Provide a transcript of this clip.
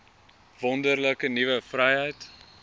wonderlike nuwe vryheid